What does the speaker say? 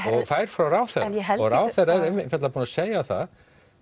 frá ráðherranum og ráðherra er einfaldlega búin að segja það